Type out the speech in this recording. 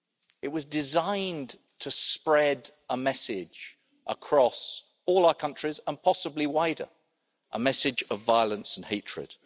It was designed to spread a message across all our countries and possibly wider a message of violence and hatred.